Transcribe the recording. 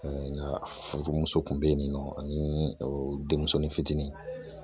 Nka furu muso kun be yen nɔ ani denmusonin fitinin